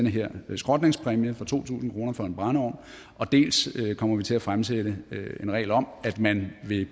her skrotningspræmie på to tusind kroner for en brændeovn dels kommer vi til at fremsætte en regel om at man ved